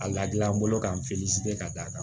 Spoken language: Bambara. A la gilan n bolo ka k'a d'a kan